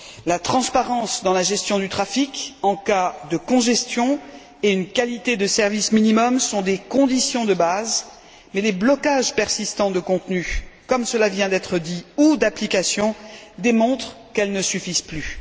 La transparence dans la gestion du trafic en cas de congestion et une qualité de service minimum sont des conditions de base, mais les blocages persistants de contenu, comme cela vient d'être dit, ou d'application démontrent qu'elles ne suffisent plus.